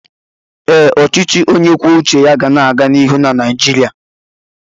Ee, Ọchịchị onye kwuo uche ya ga na-aga n'ihu na Naịjirịa.